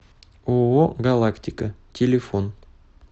ооо галактика телефон